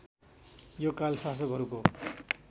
यो काल शासकहरूको